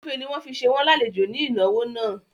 Ògúnfe ni wọ́n fi ṣe wọ́n lálejò ní ìnáwó àná